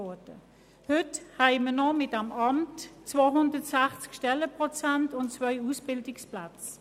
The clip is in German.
Mit diesem Amt haben wir heute noch 260 Stellenprozente und zwei Ausbildungsplätze.